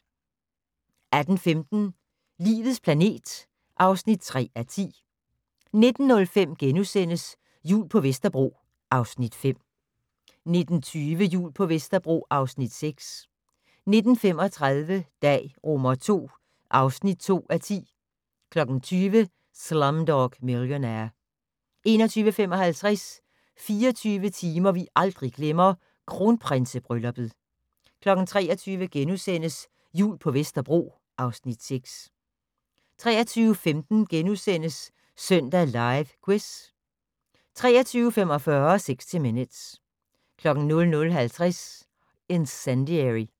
18:15: Livets planet (3:10) 19:05: Jul på Vesterbro (Afs. 5)* 19:20: Jul på Vesterbro (Afs. 6) 19:35: Dag II (2:10) 20:00: Slumdog Millionaire 21:55: 24 timer vi aldrig glemmer - Kronprinsebrylluppet 23:00: Jul på Vesterbro (Afs. 6)* 23:15: Søndag Live Quiz * 23:45: 60 Minutes 00:50: Incendiary